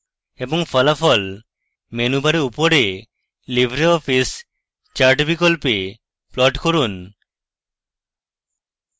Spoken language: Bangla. এবং ফলাফল মেনু বারে উপরে libreoffice চার্ট বিকল্পে প্লট করুন